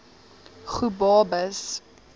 gobabis